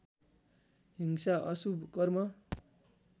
हिंसा अशुभ कर्म